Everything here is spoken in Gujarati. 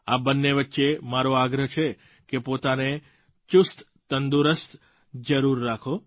આ બંને વચ્ચે મારો આગ્રહ છે કે પોતાને ચુસ્તતંદુરસ્ત જરૂર રાખો